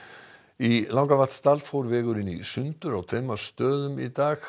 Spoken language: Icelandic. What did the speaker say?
í Langavatnsdal fór vegurinn í sundur á tveimur stöðum í dag